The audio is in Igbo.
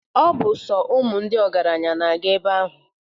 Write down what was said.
Ọ bụ sọ ụmụ ndị ọgaranya na-aga ebe ahụ.